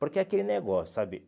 Porque aquele negócio, sabe?